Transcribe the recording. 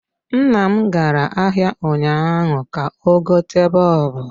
Nnam gara ahịa ụnyaahụ ka ọ gote bọlbụ